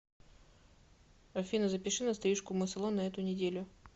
афина запиши на стрижку в мой салон на эту неделю